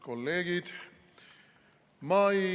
Kolleegid!